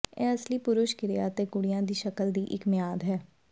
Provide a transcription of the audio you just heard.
ਇਹ ਅਸਲੀ ਪੁਰਸ਼ ਕਿਰਿਆ ਅਤੇ ਕੁੜੀਆਂ ਦੀ ਸ਼ਕਲ ਦੀ ਇੱਕ ਮਿਆਦ ਹੈ